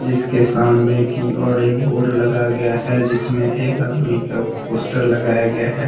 इसके सामने की ओर एक बोर्ड लगाया गया है जिसमें एक आदमी का पोस्टर लगाया गया है।